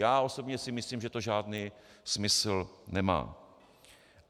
Já osobně si myslím, že to žádný smysl nemá.